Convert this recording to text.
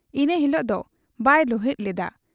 ᱤᱱᱟᱹ ᱦᱤᱞᱚᱜ ᱫᱚ ᱵᱟᱭ ᱨᱩᱦᱤᱫ ᱞᱮᱜ ᱟ ᱾